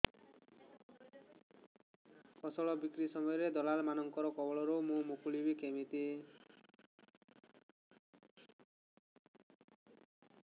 ଫସଲ ବିକ୍ରୀ ସମୟରେ ଦଲାଲ୍ ମାନଙ୍କ କବଳରୁ ମୁଁ ମୁକୁଳିଵି କେମିତି